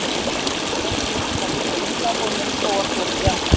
Hann lætur oft eins og það liggi illa á honum þó að svo sé ekki.